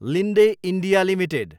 Linde India Ltd